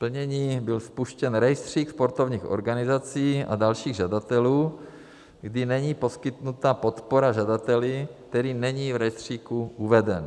Plnění - byl spuštěn rejstřík sportovních organizací a dalších žadatelů, kdy není poskytnuta podpora žadateli, který není v rejstříku uveden.